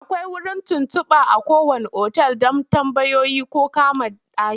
Akwai wurin tuntuɓa a kowanne otal don tambayoyi ko kama ɗaki.